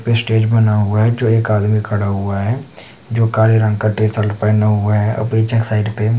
stage बना हुआ है जो एक आदमी खड़ा हुआ है जो काले रंग का टी शर्ट पहना हुआ है --]